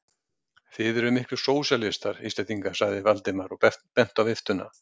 Þið eruð miklir sósíalistar, Íslendingar sagði Valdimar og benti á viftuna.